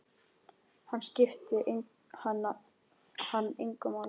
Hún skipti hann engu máli.